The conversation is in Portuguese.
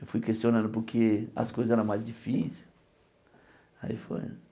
Eu fui questionando porque as coisas eram mais difíceis. Aí foi